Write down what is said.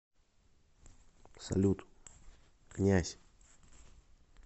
салют князь